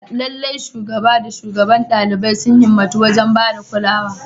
Lallai, Shugaban da shugabar ɗaliban sun himmatu wajen ba da kulawa.